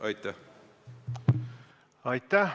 Aitäh!